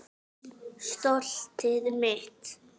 Stoltið mitt.